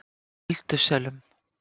Öldusölum